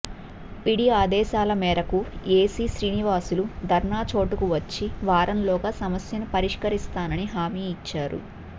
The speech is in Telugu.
పిడి ఆదేశాల మేరకు ఎసి శ్రీనివాసులు ధర్నా చోటుకి వచ్చి వారంలోగా సమస్యను పరిష్కరిస్తానని హామీ ఇచ్చారు